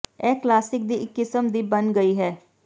ਇਹ ਕਲਾਸਿਕ ਦੀ ਇੱਕ ਕਿਸਮ ਦੀ ਬਣ ਗਈ ਹੈ